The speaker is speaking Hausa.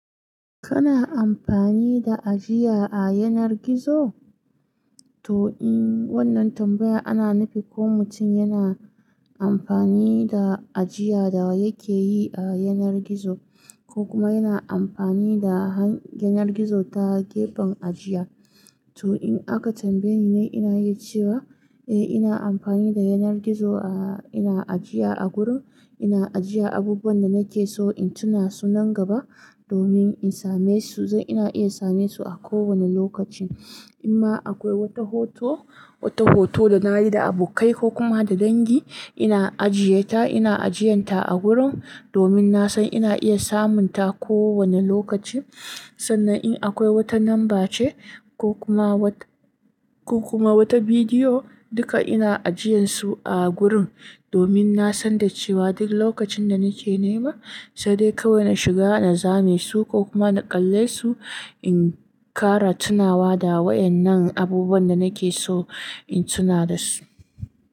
Kana amfani da ajiya a yanar gizo? To in wannan tambaya ana nufi ko mutum yana amfani da ajiya da yake yi a yanar gizo ko kuma yana amfani da han-- yanar gizo ta gefen ajiya. To in aka tambaye ni ne ina yi cewa eh ina amfani da yanar gizo a ina ajiya a gurin. Ina ajiya abubuwan da nake so in tuna su nan gaba domin in same su, ina iya same su a kowane lokaci. Kuma akwai wata hoto, wata hoto danayi da abokai ko kuma da dangi ina ajiye ta, ina ajiyan ta a gurin domin nasan ina iya samun ta a kowane lokaci. Sannan in akwai wata namba ce ko kuma wa-- ko kuma wata bidiyo duka ina ajiyan su a gurin domin na san da cewa duk lokacin da nake nema sai dai kawai na shiga na zame su ko kuma na kalle su in ƙara tunawa da waɗannan abubuwan da nake so in tuna da su.